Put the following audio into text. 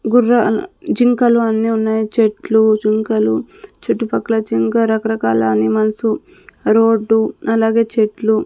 గుర్రాల జింకలు అన్నీ ఉన్నాయి చెట్లు జింకలు చుట్టుపక్కల జింగా చాలా రకరకాల అనిమల్సు రోడ్డు అలాగే చెట్లు--